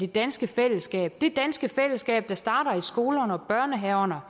danske fællesskab det danske fællesskab der starter i skolerne og børnehaverne og